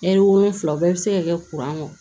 wolonfila o bɛɛ bɛ se ka kɛ